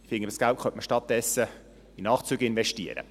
Ich finde, dieses Geld könnte man stattdessen in Nachtzüge investieren.